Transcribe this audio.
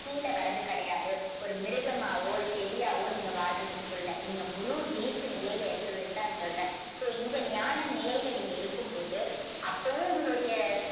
கீழ வர்றது கிடையாது. ஒரு மிருகமாவோ ஒரு செடியாவோ நீங்க வாழ்றதுக்குள்ள நீங்க முழு விழிப்பு நிலையில இருக்குறத வச்சு தான் நான் சொல்றேன். இந்த ஞான நிலையில நீங்க இருக்கும்போது அப்போவும் உங்களுடைய